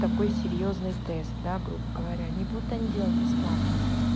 такой серьёзный тест да грубо говоря не будут они делать бесплатно